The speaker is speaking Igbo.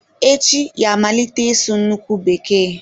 Echi ya-amalite ịsụ nnukwu bekee.